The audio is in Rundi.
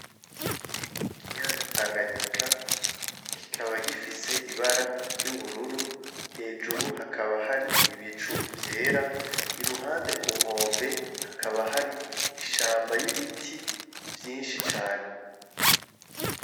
Mukiyaga Tanganyika kikaba gifise ibara ry'ubururu hejuru hakaba hari ibicu vyera i ruhande ku nkombe hakaba hari ishamba y'ibiti vyinshi cane.